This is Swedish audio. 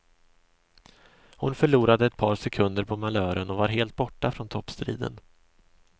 Hon förlorade ett par sekunder på malören och var helt borta från toppstriden.